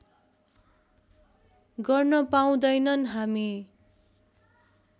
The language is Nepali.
गर्न पाउँदैनन् हामी